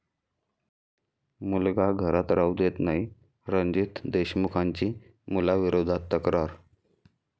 मुलगा घरात राहू देत नाही, रणजीत देशमुखांची मुलाविरोधात तक्रार